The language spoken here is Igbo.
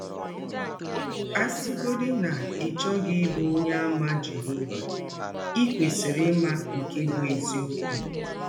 A sịgọdị na ị chọghị ịbụ Ọnyeàmà Jehọva, i kwesịrị ịma nke bụ́ eziọkwụ.